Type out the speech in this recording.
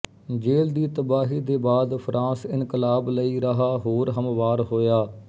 ਜੇਲ੍ਹ ਦੀ ਤਬਾਹੀ ਦੇ ਬਾਦ ਫ਼ਰਾਂਸ ਇਨਕਲਾਬ ਲਈ ਰਾਹ ਹੋਰ ਹਮਵਾਰ ਹੋਇਆ